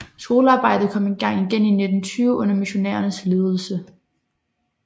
Skolearbejdet kom i gang igen i 1920 under missionærernes ledelse